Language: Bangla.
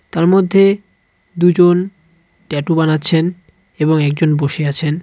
তার মধ্যে দু'জন ট্যাটু বানাচ্ছেন এবং একজন বসে আছেন.